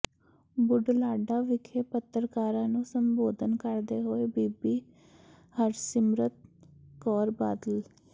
ਬੁਢਲਾਡਾ ਵਿਖੇ ਪੱਤਰਕਾਰਾਂ ਨੂੰ ਸੰਬੋਧਨ ਕਰਦੇ ਹੋਏ ਬੀਬੀ ਹਰਸਿਮਰਤ ਕੌਰ ਬਾਦਲ